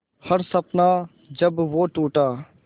हर सपना जब वो टूटा